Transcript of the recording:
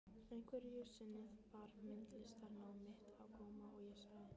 Einhverju sinni bar myndlistarnám mitt á góma og ég sagði